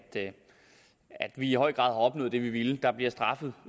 at vi i høj grad har opnået det vi ville der bliver straffet